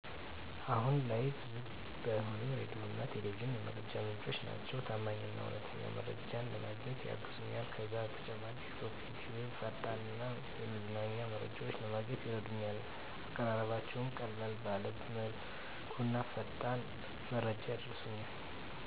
አሁን ላይም ብዙም ባይሆን ሬዲዮና ቴሌቪዥን የመረጃ አማራጮቼ ናቸው። ታማኝ እና እውነተኛ መረጃዎችን ለማግኘትም ያግዙኛል። ከዛ በተጨማሪ ቲክቶክና ዩትዩብ ፈጣን እና የመዝናኛ መረጃዎችን ለማግኘት ይረዱኛል፣ አቀራረባቸው ቀለል ባለ መልኩና ፈጣን መረጃ ያደርሱኛል።